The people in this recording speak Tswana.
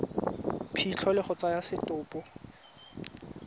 phitlho le go tsaya setopo